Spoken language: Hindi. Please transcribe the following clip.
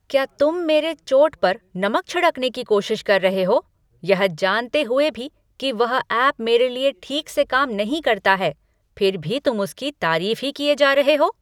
क्या तुम मेरे चोट पर नमक छिड़कने की कोशिश कर रहे हो, यह जानते हुए भी कि वह ऐप मेरे लिए ठीक से काम नहीं करता है, फिर भी तुम उसकी तारीफ ही किए जा रहे हो।